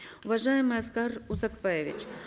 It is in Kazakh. уважаемый аскар узакбаевич